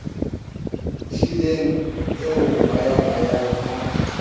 hlileng e o hwayahwayang ha